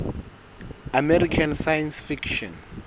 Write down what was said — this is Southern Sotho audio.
american science fiction